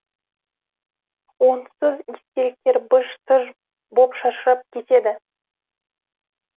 онсыз естеліктер быж тыж боп шашырап кетеді